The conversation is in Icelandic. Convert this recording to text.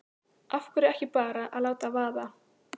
Af hverju ekki bara að láta vaða?